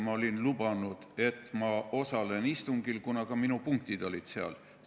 Ma olin lubanud, et ma osalen sellel istungil, kuna ka minu punktid olid seal kõne all.